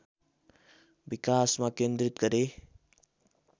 विकासमा केन्द्रित गरे